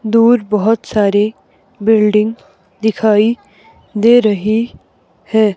दूर बहुत सारी बिल्डिंग दिखाई दे रही है।